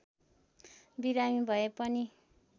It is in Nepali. बिमारी भए पनि